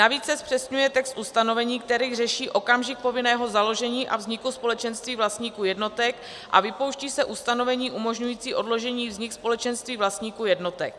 Navíc se zpřesňuje text ustanovení, který řeší okamžik povinného založení a vzniku společenství vlastníků jednotek, a vypouští se ustanovení umožňující odložení vzniku společenství vlastníků jednotek.